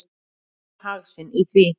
Þau sjá hag sinn í því.